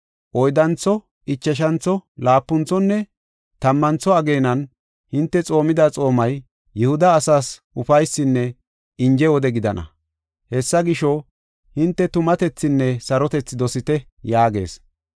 “Oyddantho, ichashantho, laapunthonne tammantho ageenan hinte xoomida xoomay Yihuda asaas ufaysinne inje wode gidana. Hessa gisho, hinte tumatethinne sarotethi dosite” yaagees.